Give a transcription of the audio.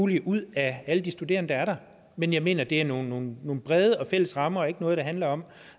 mulige ud af alle de studerende der er der men jeg mener at det er nogle nogle brede fælles rammer og ikke noget der handler om